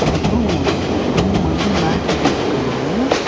அப்ரோ புல்லு மாதிரி மேட்டு போட்ருக்காங்க.